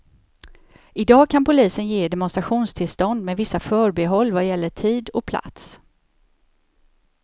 Idag kan polisen ge demonstrationstillstånd med vissa förbehåll vad gäller tid och plats.